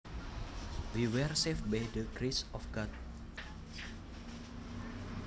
We were saved by the grace of God